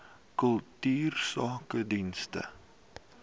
kultuursakedienste